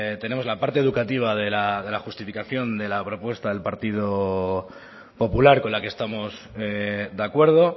tenemos la parte educativa de la justificación de la propuesta del partido popular con la que estamos de acuerdo